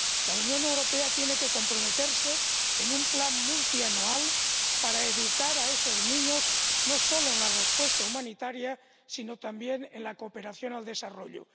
La Unión Europea tiene que comprometerse en un plan multianual para educar a esos niños no solo en la respuesta humanitaria sino también en la cooperación al desarrollo.